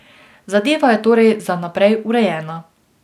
Zadeva je torej za naprej urejena.